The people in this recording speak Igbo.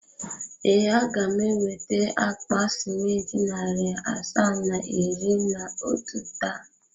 Ee, a ga m eweta akpa simenti narị asaa na iri na otu taa.